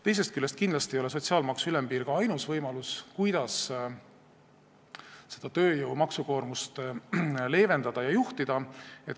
Teisest küljest ei ole sotsiaalmaksu ülempiir kindlasti ainus võimalus, kuidas tööjõu maksukoormust leevendada ja juhtida.